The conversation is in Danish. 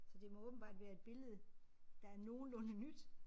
Så det må åbenbart være et billede der er nogenlunde nyt